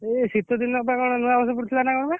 ଏଇ ଶୀତ ଦିନ ପାଗ ରେ ନୂଆବର୍ଷ ପଡିଥିଲା ନା କଣ ବା?